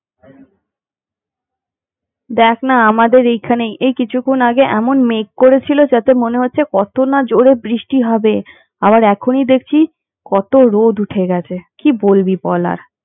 কোনো ঠিক ঠিকানা নেই দেখ না আমাদের এইখানেই এই কিছুক্ষন আগে এমন মেঘ করেছিল যাতে মনে হচ্ছিলো কত না জোরে বৃষ্টি হবে, আবার এখনই দেখছি কতো রোদ উঠে গেছে কি বলবি বল আর।